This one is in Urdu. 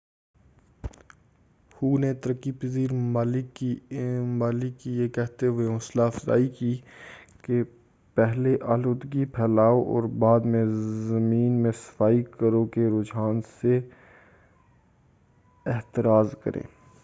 ہو نے ترقی پذیر ممالک کی یہ کہتے ہوئے حوصلہ افزائی کی کہ پہلے آلودگی پھیلاؤ اور بعد میں صفائی کرو کے رجحان سے احتراز کریں